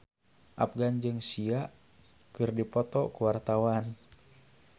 Afgan jeung Sia keur dipoto ku wartawan